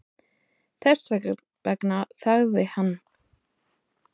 Þess vegna þagði hann.